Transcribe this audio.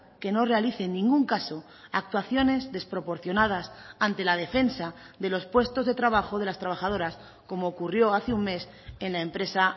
que no realice en ningún caso actuaciones desproporcionadas ante la defensa de los puestos de trabajo de las trabajadoras como ocurrió hace un mes en la empresa